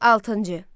Altıncı.